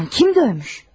Nə zaman, kim döymüş?